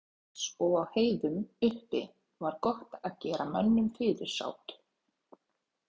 Í dölum Íslands og á heiðum uppi var gott að gera mönnum fyrirsát.